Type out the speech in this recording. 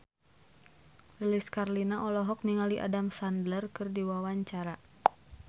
Lilis Karlina olohok ningali Adam Sandler keur diwawancara